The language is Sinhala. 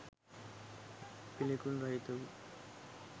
පිළිකුල් රහිත වූ